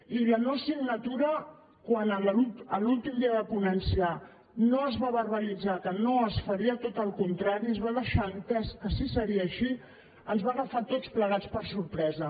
i la no signatura quan l’últim dia de ponència no es va verbalitzar que no es faria tot al contrari es va deixar entès que sí que seria així ens va agafar a tots plegats per sorpresa